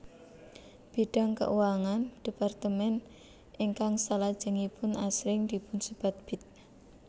Bidang keuangan departemen ingkang salajengipun asring dipunsebat Bid